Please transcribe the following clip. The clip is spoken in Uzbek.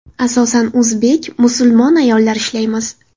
Asosan o‘zbek, musulmon ayollar ishlaymiz.